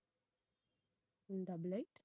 um double eight